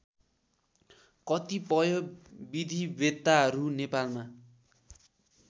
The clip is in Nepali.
कतिपय विधिवेत्ताहरू नेपालमा